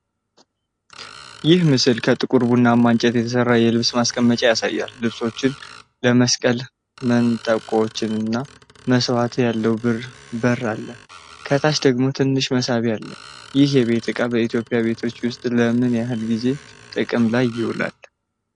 ይህ ምስል ከጥቁር ቡናማ እንጨት የተሰራ የልብስ ማስቀመጫ ያሳያል። ልብሶችን ለመስቀል መንጠቆዎችና መስተዋት ያለው በር አለው፤ ከታች ደግሞ ትንሽ መሳቢያ አለው። ይህ የቤት እቃ በኢትዮጵያ ቤቶች ውስጥ ለምን ያህል ጊዜ ጥቅም ላይ ይውላል?